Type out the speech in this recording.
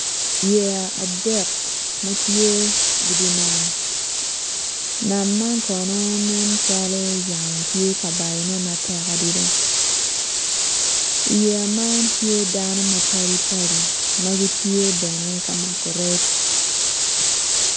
Yeya adek ma tye i di nam nam man kono nen calo yamo tye ka bayone matek adida iyeya man tye dano mapadi padi ma gitye bene ka mako rec